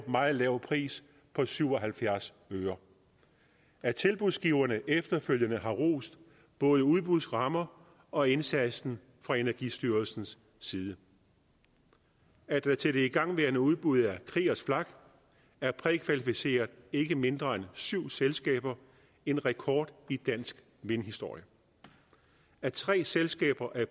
meget lav pris på syv og halvfjerds øre at tilbudsgiverne efterfølgende har rost både udbudsrammer og indsatsen fra energistyrelsens side at der til det igangværende udbud af kriegers flak er prækvalificeret ikke mindre end syv selskaber en rekord i dansk vindhistorie at tre selskaber er